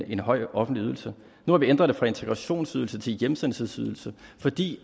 en høj offentlig ydelse nu har vi ændret det fra integrationsydelse til hjemsendelsesydelse fordi